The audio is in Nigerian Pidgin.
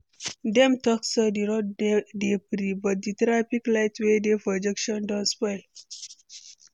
Dem talk say di road dey free, but di traffic light wey dey for junction don spoil.